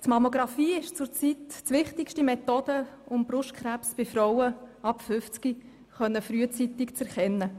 Die Mammographie ist zurzeit die wichtigste Methode, um Brustkrebs bei Frauen ab 50 Jahren frühzeitig erkennen zu können.